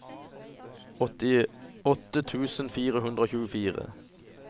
åttiåtte tusen fire hundre og tjuefire